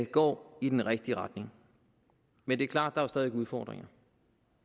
går i den rigtige retning men det er klart at der er udfordringer